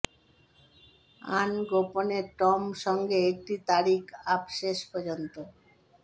an গোপনে Tom সঙ্গে একটি তারিখ আপ শেষ পর্যন্ত